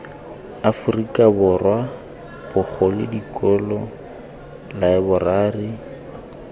aforika borwa bagolo dikolo laeborari